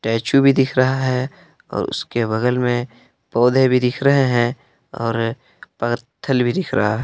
statue भी दिख रहा है और उसके बगल में पौधे भी दिख रहे हैं और पत्थल भी दिख रहा--